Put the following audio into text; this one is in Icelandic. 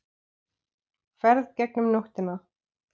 Ferð gegnum nóttina